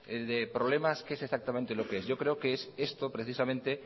de problemas qué es exactamente lo que es yo creo que es esto precisamente